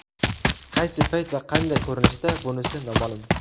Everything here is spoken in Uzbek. Qaysi payt va qanday ko‘rinishda, bunisi noma’lum.